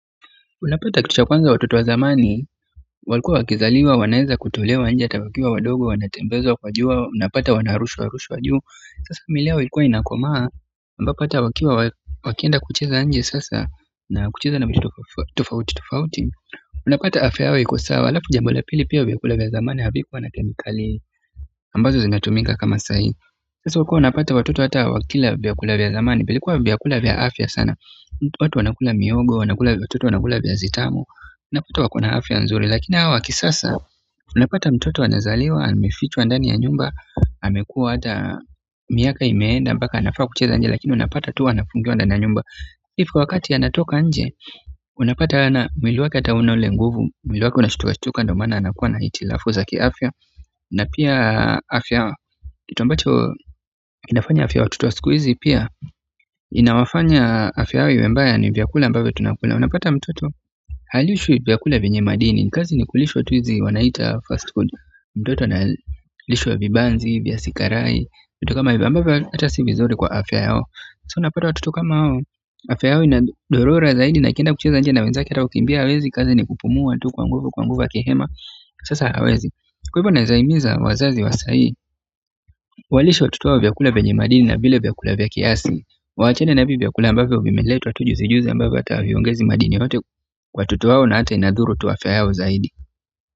Unapata kitu cha kwanza; watoto wa zamani walikuwa wakizaliwa wanaweza kutolewa nje, hata wakiwa wadogo, wanatembezwa, kwa jua, unapata wanarushwarushwa juu. Sasa miili yao ilikuwa inakomaa, ambapo hata wakienda kucheza nje sasa, na kucheza na vitu tofauti tofauti unapata afya yao iko sawa halafu jambo la pili pia vyakula vya zamani, havikuwa na kemikali, ambazo zinatumika kama sahii sasa ulikuwa unapata watoto, hata wakila vyakula vya zamani vilikuwa vyakula vya afya sana watu wanakula mihogo, wanakula, watoto wanakula viazi tamu, unapata wako na afya nzuri. Lakini hawa wa kisasa, unapata mtoto anazaliwa, amefichwa ndani ya nyumba, amekua hata miaka imeenda, mpaka anafaa kucheza nje lakini unapata tu anafungiwa ndani ya nyumba. If wakati anatoka nje unapata hana, mwili wake hata hauna ule nguvu, mwili wake unashtukashtuka ndiyo maana anakuwa na hitilafu za kiafya na pia afya, kitu ambacho inafanya afya ya watoto wa siku hizi pia, inawafanya afya yao iwe mbaya, ni vyakula ambavyo tunakula. Unapata mtoto halishwi vyakula vyenye madini. Kazi ni kulishwa tu hizi wanaita fast food. Mtoto analishwa vibanzi, viazi karai vitu kama hivyo ambavyo hata si vizuri kwa afya yao. So unapata watoto kama hao, afya yao inadorora zaidi na akienda kucheza nje na wenzake hata kukimbia hawezi kazi ni kupumua tu kwa nguvu kwa nguvu akihema sasa hawezi. Kwa hivyo naweza himiza wazazi wa sahii, walishe watoto wao vyakula vyenye madini na vile vyakula vya kiasi. Waachane na hivi vyakula ambavyo vimeletwa tu juzijuzi ambavyo hata haviongezi madini yoyote kwa watoto wao na hata inadhuru tu afya yao zaidi.